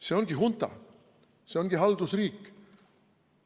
See ongi hunta, see ongi haldusriik.